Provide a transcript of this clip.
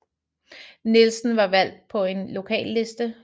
Nielsen var valgt på en lokalliste